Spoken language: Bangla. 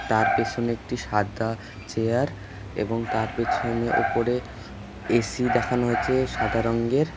তার পিছনে একটি সাদা চেয়ার এবং তার পিছনে ওপরে এ_সি দেখানো হইছে সাদা রংগের ।